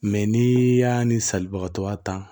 Mɛ n'i y'a ni salibagatɔ ya ta